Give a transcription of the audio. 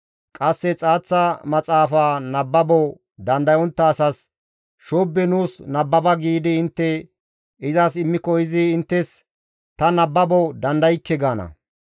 Qasse xaaththa maxaafaa nababo dandayontta asas, «Shoobbe nuus nababa» giidi intte izas immiko izi inttes, «Ta nababo dandaykke» gaana.